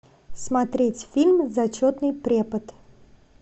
смотреть фильм зачетный препод